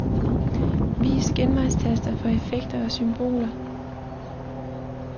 Vis genvejstaster for effekter og symboler.